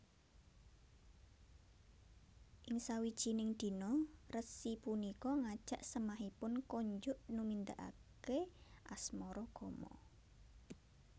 Ing sawijining dina resi punika ngajak semahipun konjuk numindakake asmaragama